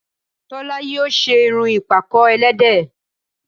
Tólá yíò ṣe irun ìpàkọ́ ẹlẹ́dẹ̀